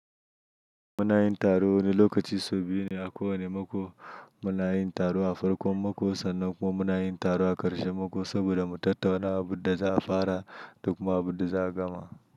Muna yin taro wani lokaci sau biyu ne a kowane mako. Muna yin taro a farkon mako sannan kuma muna yin taro a ƙarshen mako saboda mu tattauna abin da za a fara da kuma abin da za a gama.